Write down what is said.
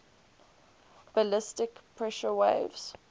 ballistic pressure waves